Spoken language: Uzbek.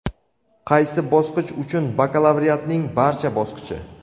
Qaysi bosqich uchun: bakalavriatning barcha bosqichi.